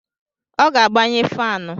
Ọ ga-agbanye fanụ